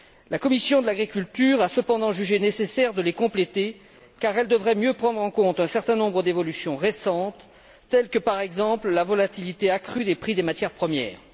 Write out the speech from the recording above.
La commission de l'agriculture et du développement rural a, cependant, jugé nécessaire de les compléter car elles devraient mieux prendre en compte un certain nombre d'évolutions récentes telles que, par exemple, la volatilité accrue des prix des matières premières.